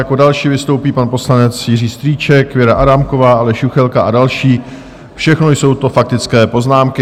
Jako další vystoupí pan poslanec Jiří Strýček, Věra Adámková, Aleš Juchelka a další, všechno jsou to faktické poznámky.